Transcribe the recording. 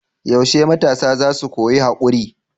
Yaushe matasa za su koyi haƙuri?